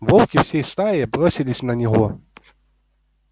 волки всей стаей бросились на него